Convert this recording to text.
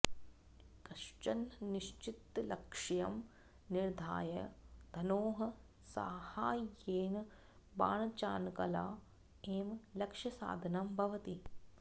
कश्चन निश्चित लक्ष्यं निर्धार्य धनोः साहाय्येन बाणचानकला एव लक्ष्यसाधनं भवति